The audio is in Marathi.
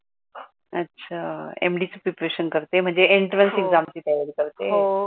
अच्छा. आह MD च प्रिपेरेशन करते म्हणज एंट्रेन्स एक्झामची तयारी करते?